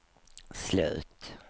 slut